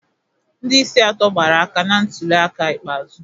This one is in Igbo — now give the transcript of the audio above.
Ndị isi atọ gbara aka na ntuli aka ikpeazụ